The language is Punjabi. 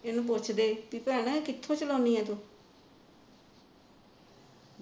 ਇਹਨੂੰ ਪੁੱਛਦੇ ਵੀ ਭੈਣੇ ਕਿਥੋ ਚਲਾਉਦੀ ਹੈ ਤੂੰ